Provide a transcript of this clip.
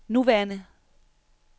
nuværende